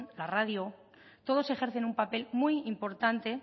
la radio todos ejercen un papel muy importante